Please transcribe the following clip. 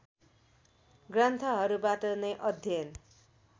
ग्रन्थहरूबाट नै अध्ययन